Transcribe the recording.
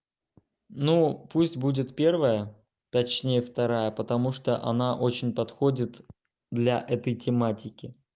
ну пусть будет первое точнее вторая потому что она очень подходит для этой тематики